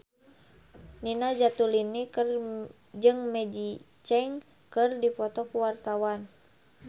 Nina Zatulini jeung Maggie Cheung keur dipoto ku wartawan